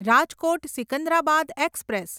Rajkot Secunderabad express